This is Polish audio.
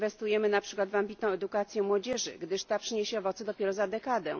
Nie inwestujemy na przykład w ambitną edukację młodzieży, gdyż ta przyniesie owoce dopiero za dekadę.